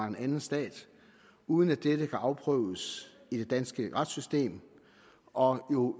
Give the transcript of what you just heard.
en anden stat uden at disse kan afprøves i det danske retssystem og